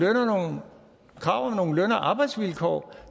krav om løn og arbejdsvilkår